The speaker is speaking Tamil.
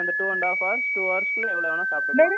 வெறும் இது மட்டும் தானா வேற ஏதும் இருக்காத